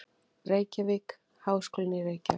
Reykjavík: Háskólinn í Reykjavík.